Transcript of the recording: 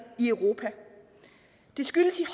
i europa det skyldes i